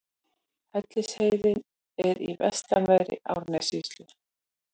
Hellisheiði er í vestanverðri Árnessýslu.